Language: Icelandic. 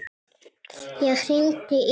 Ég hringdi í hann.